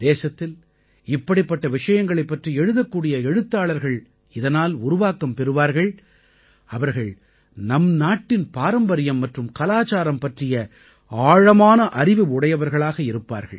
தேசத்தில் இப்படிப்பட்ட விஷயங்களைப் பற்றி எழுதக்கூடிய எழுத்தாளர்கள் இதனால் உருவாக்கம் பெறுவார்கள் அவர்கள் நம் நாட்டின் பாரம்பரியம் மற்றும் கலாச்சாரம் பற்றிய ஆழமான அறிவு உடையவர்களாக இருப்பார்கள்